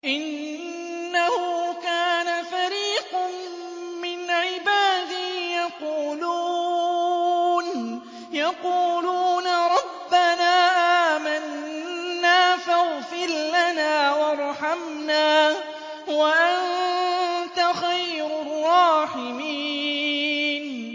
إِنَّهُ كَانَ فَرِيقٌ مِّنْ عِبَادِي يَقُولُونَ رَبَّنَا آمَنَّا فَاغْفِرْ لَنَا وَارْحَمْنَا وَأَنتَ خَيْرُ الرَّاحِمِينَ